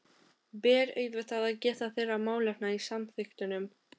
Ber auðvitað að geta þeirra málefna í samþykktunum.